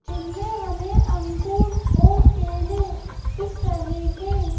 जिनमें हमें अंगुर और केले दिख रहे हैं।